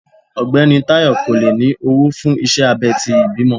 Ọgbẹni Tayo ko le ni owo fun iṣẹ abé ti ìbímo